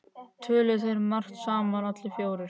Töluðu þeir margt saman allir fjórir.